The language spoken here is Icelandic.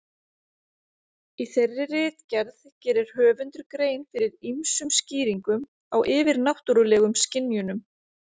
Í þeirri ritgerð gerir höfundur grein fyrir ýmsum skýringum á yfirnáttúrulegum skynjunum.